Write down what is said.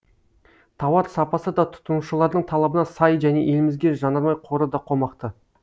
тауар сапасы да тұтынушылардың талабына сай және елімізге жанармай қоры да қомақты